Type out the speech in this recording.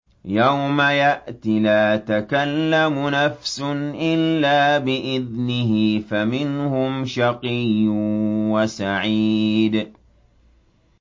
يَوْمَ يَأْتِ لَا تَكَلَّمُ نَفْسٌ إِلَّا بِإِذْنِهِ ۚ فَمِنْهُمْ شَقِيٌّ وَسَعِيدٌ